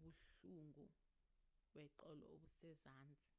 ubuhlungo beqolo obusezansi